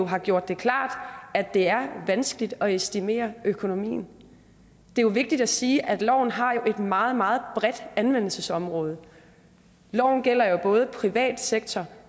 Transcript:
har gjort det klart at det er vanskeligt at estimere økonomien det er jo vigtigt at sige at loven har et meget meget bredt anvendelsesområde loven gælder jo både i den private sektor